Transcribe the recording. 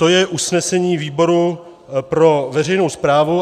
To je usnesení výboru pro veřejnou správu.